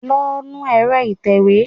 Lọ nu ẹ̀rọ ìtẹ̀wé!